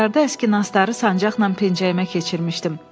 Qatarda əski nastları sancaqla pencəyimə keçirmişdim.